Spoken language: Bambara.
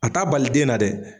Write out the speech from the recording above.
A t'a bali den na dɛ